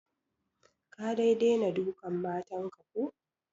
Ka dai dena dukan matan ka ko?